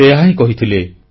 ସେ ଏହାହିଁ କହିଥିଲେ